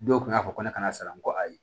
Dɔw kun y'a fɔ ko ne kana sara n ko ayi